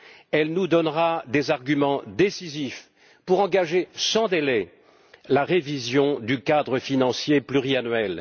Elle nous donnera des arguments décisifs pour engager sans délai la révision du cadre financier pluriannuel.